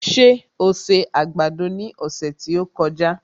Ṣé o se àgbàdo ní ọ̀sẹ̀ tí ó kọjá?